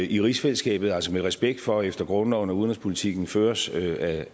i rigsfællesskabet altså med respekt for efter grundloven at udenrigspolitikken føres af